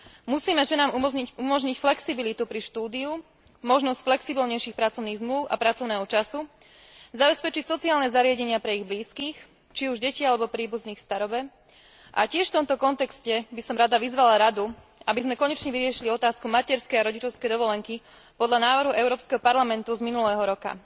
Musíme ženám umožniť flexibilitu pri štúdiu, možnosť flexibilnejších pracovných zmlúv a pracovného času, zabezpečiť sociálne zariadenia pre ich blízkych, či už deti alebo príbuzných v starobe. V tomto kontexte by som tiež rada vyzvala Radu, aby sme konečne vyriešili otázku materskej a rodičovskej dovolenky podľa návrhu Európskeho parlamentu z minulého roka.